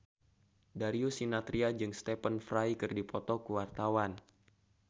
Darius Sinathrya jeung Stephen Fry keur dipoto ku wartawan